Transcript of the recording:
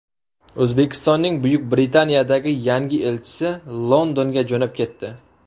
O‘zbekistonning Buyuk Britaniyadagi yangi elchisi Londonga jo‘nab ketdi.